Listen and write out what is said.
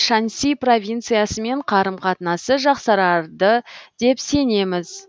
шаньси провинциясымен қарым қатынасы жақсарады деп сенеміз